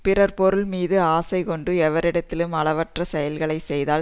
பிறர் பொருள் மீது ஆசை கொண்டு எவரிடத்திலும் அலவற்ற செயல்களை செய்தால்